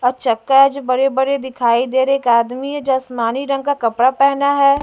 और चक्का है जो बड़े-बड़े दिखाई दे रहे एक आदमी है जो आसमानी रंग का कपड़ा पहना है।